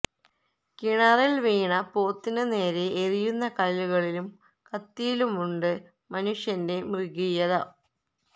കിണറില് വീണ പോത്തിനു നേരെ എറിയുന്ന കല്ലുകളിലും കത്തിയിലുമുണ്ട് മനുഷ്യന്റെ മൃഗീയത